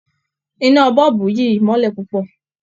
Iná bọ̀ọ̀bù yìí mọ́lẹ̀ púpọ̀